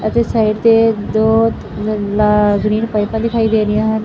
ਅਤੇ ਸਾਈਡ ਤੇ ਦੋ ਪਾਈਪਾਂ ਦਿਖਾਈ ਦੇ ਰਹੀਆਂ ਹਨ।